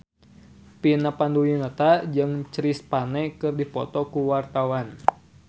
Vina Panduwinata jeung Chris Pane keur dipoto ku wartawan